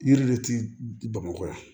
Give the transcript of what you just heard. Yiri de ti bamakɔ yan